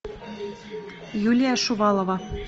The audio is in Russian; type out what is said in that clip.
юлия шувалова